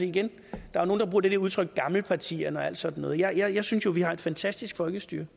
igen der er nogle der bruger det der udtryk gammelpartierne og alt sådan noget jeg synes jo vi har et fantastisk folkestyre